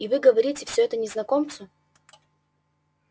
и вы говорите всё это незнакомцу